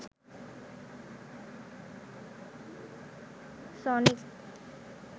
sonic